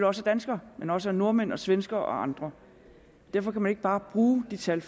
også af danskere men også af nordmænd og svenskere og andre derfor kan man ikke bare bruge de tal